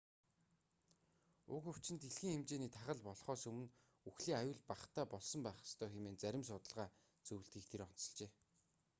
уг өвчин дэлхийн хэмжээний тахал болхоос өмнө үхлийн аюул багатай болсон байх ёстой хэмээн зарим судалгаа зөвлөдгийг тэр онцолжээ